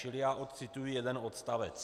Čili já odcituji jeden odstavec.